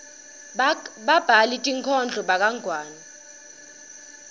babhali tinkhondlo bakangwane